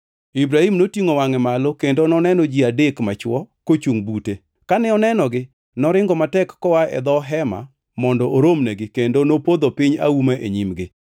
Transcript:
Ibrahim notingʼo wangʼe malo kendo noneno ji adek machwo kochungʼ bute. Kane onenogi, noringo matek koa e dho hema mondo oromnegi kendo nopodho piny auma e nyimgi.